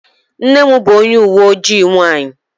Nne m bụ onye uwe ojii nwanyị.